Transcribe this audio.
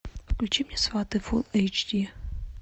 включи мне сваты фул эйч ди